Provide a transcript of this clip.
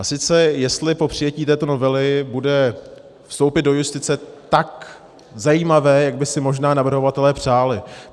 A sice jestli po přijetí této novely bude vstoupit do justice tak zajímavé, jak by si možná navrhovatelé přáli.